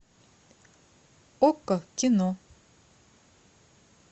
окко кино